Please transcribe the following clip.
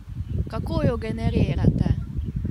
Kako jo generirate?